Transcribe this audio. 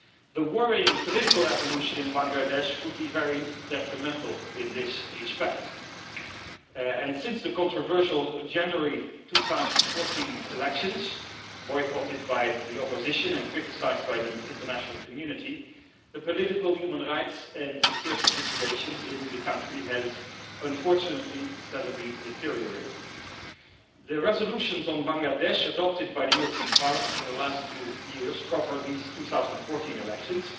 The worrying political evolution in Bangladesh could be very detrimental in this respect and since the controversial January 2014 elections, boycotted by the opposition and criticised by the international community, the political, human rights and security situation in the country has unfortunately steadily deteriorated. The resolutions on Bangladesh adopted by the European Parliament in the last two years cover these 2014 elections,